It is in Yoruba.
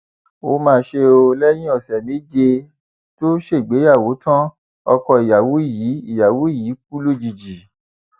ó mà ṣe o lẹyìn ọsẹ méje tó ṣègbéyàwó tan ọkọ ìyàwó yìí ìyàwó yìí kù lójijì